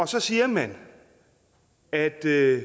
så siger man at